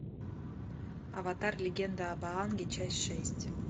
аватар легенда об аанге часть шесть